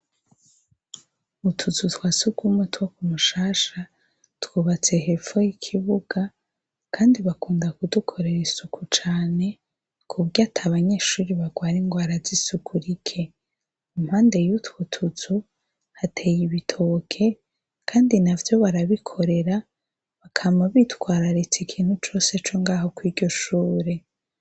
Utuzuzwa seg'umutwa ku mushasha twubatse hepfoy ikibuga, kandi bakunda kudukorera isuku cane kubwo ati abanyeshuri bagware ngo arazi isuku rike umpande yutwe utuzu hateye ibitoke, kandi na vyo barabikorera bakama bitwararitsa ikintu cose co ngaho ko iryoshure.